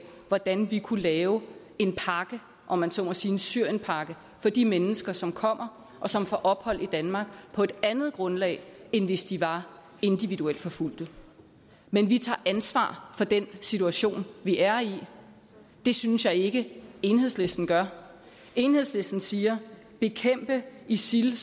hvordan vi kunne lave en pakke om man så må sige en syrienpakke for de mennesker som kommer og som får ophold i danmark på et andet grundlag end hvis de var individuelt forfulgte men vi tager ansvar for den situation vi er i det synes jeg ikke at enhedslisten gør enhedslisten siger at bekæmpe isil